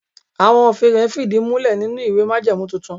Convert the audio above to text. Àwọn òfin rẹ̀ fìdí múlè nínú ìwé májẹ̀mú tuntun.